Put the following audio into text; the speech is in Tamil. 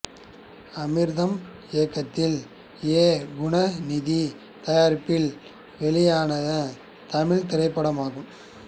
அமிர்தம் இயக்கத்தில் ஏ குணநிதி தயாரிப்பில் வெளியான தமிழ்த் திரைப்படம் ஆகும்